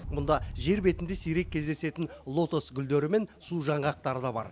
мұнда жер бетінде сирек кездесетін лотос гулдері мен су жаңғақтары да бар